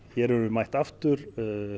hér erum við mætt aftur